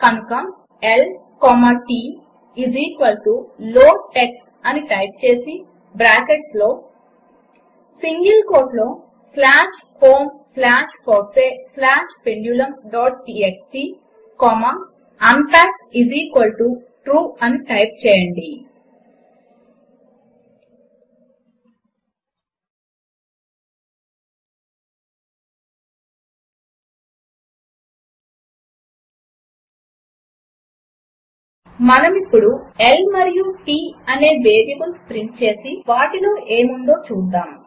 కనుక బ్రాకెట్స్లో ల్ T లోడ్టీఎక్స్టీ అని టైప్ చేసి సింగిల్ కోట్లో slash home slash fossee slash pendulumటీఎక్స్టీ కొమ్మ unpackTrue అని టైప్ చేయండి మనమిప్పుడు L మరియు T అనే వేరియబుల్స్ ప్రింట్ చేసి వాటిలో ఏముందో చూద్దాము